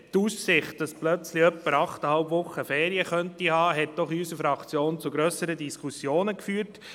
Insbesondere die Aussicht, dass plötzlich jemand achteinhalb Wochen Ferien haben könnte, hat in unserer Fraktion doch zu grösseren Diskussionen geführt.